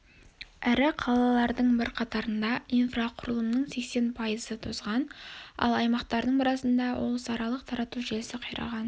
ірі қалалардың бірқатарында инфрақұрылымның сексен пайызы тозған ал аймақтардың біразында облысаралық тарату желісі қираған